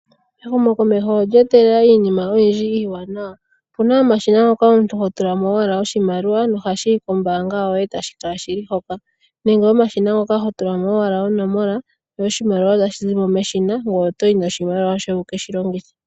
Ehumokomeho olye etelela iinima oyindji iiwanawa opuna omashina ngoka omuntu ho tulamo owala oshimaliwa nohashiyi kombaanga yoye tashi kala shili hoka nenge omashina ngoka ho tula mo owala onomola sho oshimaliwa otashi zimo meshina ngoye oto yi noshimaliwa shoye wuke shi longithe.